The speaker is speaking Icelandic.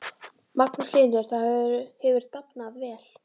Magnús Hlynur: Það hefur dafnað vel?